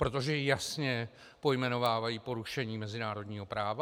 Protože jasně pojmenovávají porušení mezinárodního práva?